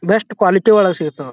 Best quality ಒಳಗೆ ಸಿಗುತ್ತದೆ.